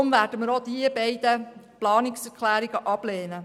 Deshalb werden wir auch diese beiden Planungserklärungen ablehnen.